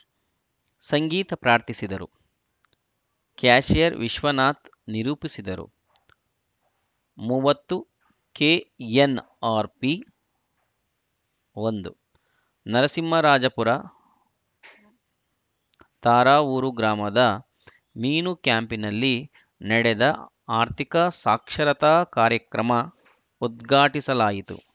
ಸಂಗೀತ ಪ್ರಾರ್ಥಿಸಿದರು ಕ್ಯಾಶಿಯರ್‌ ವಿಶ್ವನಾಥ್‌ ನಿರೂಪಿಸಿದರು ಮೂವತ್ತು ಕೆಎನ್‌ಆರ್‌ಪಿ ಒಂದು ನರಸಿಂಹರಾಜಪುರ ತಾ ರಾವೂರು ಗ್ರಾಮದ ಮೀನು ಕ್ಯಾಂಪಿನಲ್ಲಿ ನಡೆದ ಆರ್ಥಿಕ ಸಾಕ್ಷರತಾ ಕಾರ್ಯಕ್ರಮ ಉದ್ಘಾಟಿಸಲಾಯಿತು